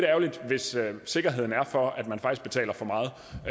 ærgerligt hvis sikkerheden er for at man faktisk betaler for meget